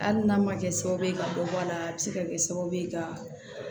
Hali n'a ma kɛ sababu ka dɔ bɔ a la a bi se ka kɛ sababu ye ka